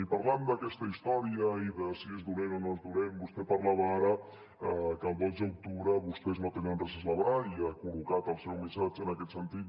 i parlant d’aquesta història i de si és dolent o no és dolent vostè parlava ara que el dotze d’octubre vostès no tenen res a celebrar i ha col·locat el seu missatge en aquest sentit